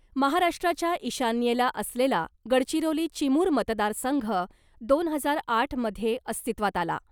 महाराष्ट्राच्या ईशान्येला असलेला गडचिरोली चिमूर मतदारसंघ दोन हजार आठमध्ये अस्तित्वात आला .